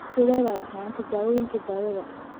Sidee bay ahaayeen tijaabooyinka daawada?